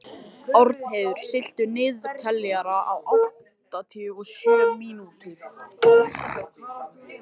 Árnheiður, stilltu niðurteljara á áttatíu og sjö mínútur.